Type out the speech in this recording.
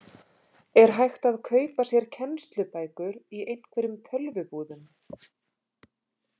Er hægt að kaupa sér kennslubækur í einhverjum tölvubúðum?